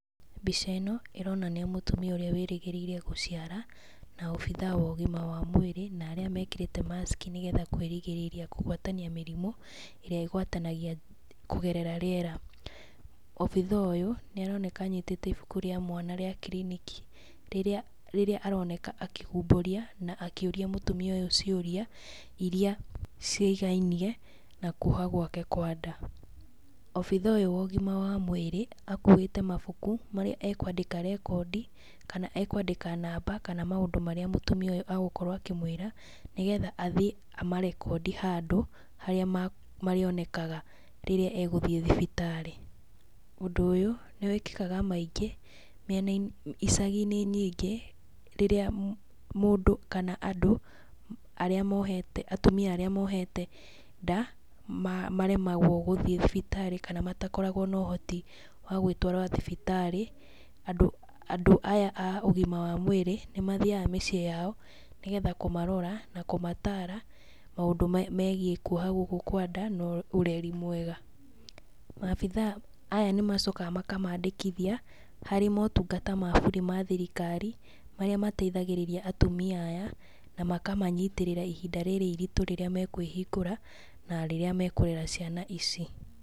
Mbica ĩno, ĩronania mũtumia ũrĩa wĩrĩgĩrĩire gũciara, na obithaa wa ũgima wa mwĩrĩ, na arĩa mekĩrĩte mask nĩgetha kwĩrigĩrĩria kũgwatania mĩrimũ, ĩrĩa ĩgwatanagia kũgerera rĩera. Obithaa ũyũ nĩ aroneka anyitĩte ibuku rĩa mwana rĩa kiriniki, rĩrĩa rĩrĩa aroneka akĩhumbũria na akĩũria mũtumia ũyũ ciũria ira ciĩgainie na kuoha gwake kwa nda. Obithaa ũyũ wa ũgima wa mwĩrĩ, akuĩte mabuku marĩa akwandĩka rekondi, kana ekwandĩka namba, kana maũndũ marĩa mũtumia ũyũ agũkorwo akĩmwĩra nĩgetha athiĩ amarekondi handũ harĩa marĩonekaga rĩrĩa agũthiĩ thibitarĩ. Ũndũ ũyũ nĩ wĩkĩkaga maĩngĩ mĩenainĩ icagi-inĩ nyingĩ rĩrĩa mũndũ kana andũ arĩa mohete, atumia arĩa mohete nda, maremagwo gũthiĩ thibitarĩ kana matakoragwo na ũhoti wa gwĩtwara thibitarĩ, andũ andũ aya a ũgima wa mwĩrĩ, nĩ mathiaga mĩciĩ yao nĩgetha kũmarora na kũmatara maũndũ megiĩ kuoha gũkũ kwa nda na ũreri mwega. Maabithaa aya nĩ macokaga makamandĩkithia harĩ motungata ma burĩ ma thirikari, marĩa mateithagĩrĩria atumia aya, na makamanyitĩrĩra ihinda rĩrĩ iritũ rĩrĩa mekwĩhingũra na rĩrĩa mekũrera ciana ici.